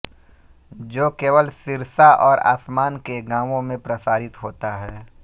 जो केवल सिरसा और आसपास के गांवों में प्रसारित होता है